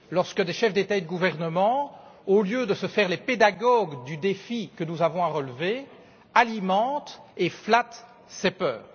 Lorsque des chefs d'État ou de gouvernement, au lieu de se faire les pédagogues du défi que nous avons à relever, alimentent et flattent ces peurs.